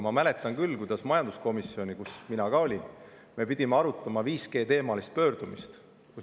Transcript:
Ma mäletan küll, kuidas me majanduskomisjonis, kus mina ka olin, pidime arutama 5G‑teemalist pöördumist.